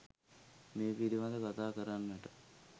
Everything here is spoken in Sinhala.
මේ පිළිබඳව කතා කරන්නට